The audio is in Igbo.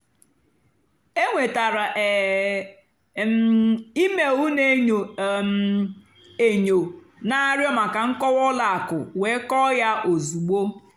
énwètárá um m éméel nà-ènyó um ènyó nà-àrịọ́ màkà nkọ́wá ùlọ àkụ́ wéé kọ́ọ́ yá ózùgbó.